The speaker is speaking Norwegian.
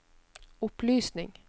opplysning